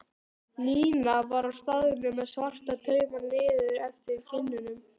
Nína var á staðnum með svarta tauma niður eftir kinnunum.